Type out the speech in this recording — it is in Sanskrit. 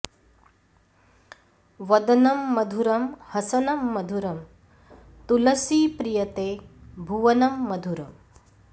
वदनं मधुरं हसनं मधुरं तुलसीप्रिय ते भुवनं मधुरम्